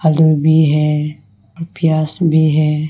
आलू भी है प्याज भी है।